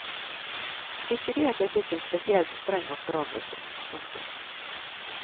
Ikke det at jeg fikk en spesielt streng oppdragelse. punktum